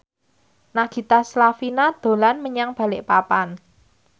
Nagita Slavina dolan menyang Balikpapan